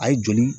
A ye joli